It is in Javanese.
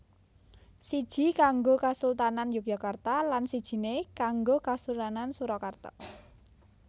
Siji kanggo kasultanan Yogyakarta lan sijiné kanggo Kasunanan Surakarta